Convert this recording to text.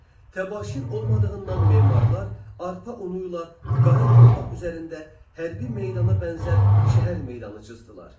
Təbaşir olmadığından memarlar arpa unu ilə qara torpaq üzərində hərbi meydana bənzər şəhər meydanı cızdılar.